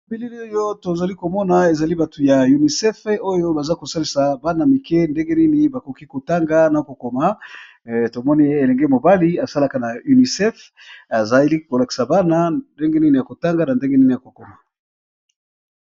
Bilili oyo tozali komona ezali batu ya unicef oyo baza kosalisa bana mike ndenge nini bakoki kotanga na kokoma tomoni ye elenge mobali asalaka na unicef azali kolakisa bana ndenge nini ya kotanga na ndenge nini ya kokoma.